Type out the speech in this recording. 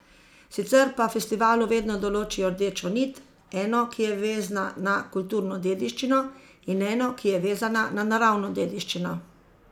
Sicer pa festivalu vedno določijo rdečo nit, eno, ki je vezna na kulturno dediščino, in eno, ki je vezana na naravno dediščino.